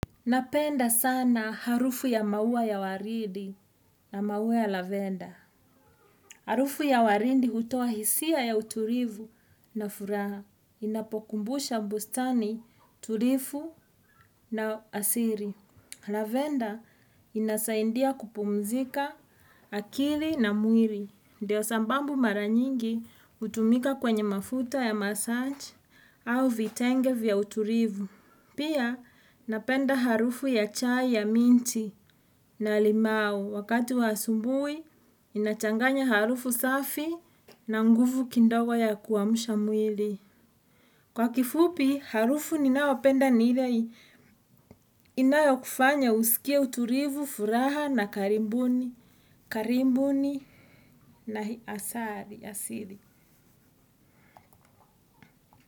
Napenda sana harufu ya maua ya waridi na maua ya lavenda. Harufu ya waridi hutoa hisia ya utulivu na furaha. Inapokumbusha mbustani, tulivu na asili. Lavenda inasaidia kupumzika akili na mwili. Ndio sababu mara nyingi hutumika kwenye mafuta ya massage au vitenge vya utulivu. Pia napenda harufu ya chai ya minti na limau wakati wa asubuhi inachanganya harufu safi na nguvu kidogo ya kuamsha mwili. Kwa kifupi harufu ninayopenda ni ile inayo kufanya usikie utulivu, furaha na karibuni, karibuni na asili.